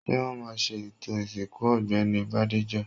Ṣé wọ́n ma ṣe ètò ìsìnkú Ọ̀gbẹ́ni Bádéjọ?